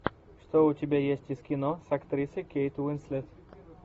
что у тебя есть из кино с актрисой кейт уинслет